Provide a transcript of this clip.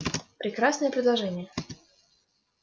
прекрасное предложение